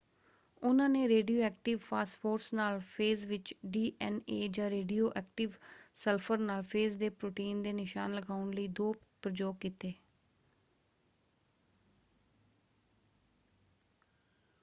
ਉਨ੍ਹਾਂ ਨੇ radioactive phosphorus ਨਾਲ ਫੇਜ਼ ਵਿੱਚ ਡੀ.ਐੱਨ.ਏ. ਜਾਂ ਰੇਡੀਓ ਐਕਟਿਵ ਸਲਫਰ ਨਾਲ ਫੇਜ਼ ਦੇ ਪ੍ਰੋਟੀਨ ਦੇ ਨਿਸ਼ਾਨ ਲਗਾਉਣ ਲਈ ਦੋ ਪ੍ਰਯੋਗ ਕੀਤੇ।